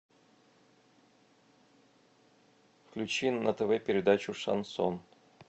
включи на тв передачу шансон